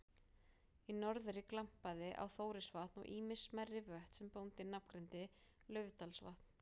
Í norðri glampaði á Þórisvatn og ýmis smærri vötn sem bóndinn nafngreindi: Laufdalsvatn